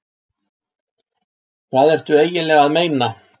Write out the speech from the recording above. Hvað ertu eiginlega að meina?